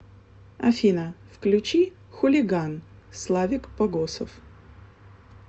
афина включи хулиган славик погосов